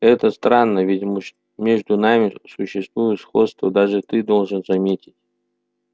это странно ведь между нами существует сходство даже ты должен заметить